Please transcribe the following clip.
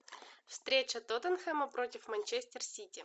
встреча тоттенхэма против манчестер сити